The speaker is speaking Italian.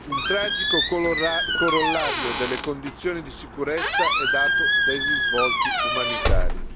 Un tragico corollario delle condizioni di sicurezza è dato dai risvolti umanitari.